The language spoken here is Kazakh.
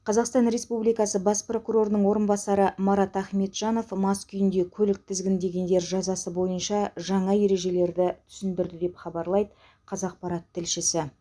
қазақстан республикасы бас прокурорының орынбасары марат ахметжанов мас күйінде көлік тізгіндегендер жазасы бойынша жаңа ережелерді түсіндірді деп хабарлайды қазақпарат тілшісі